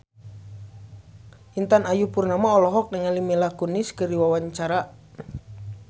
Intan Ayu Purnama olohok ningali Mila Kunis keur diwawancara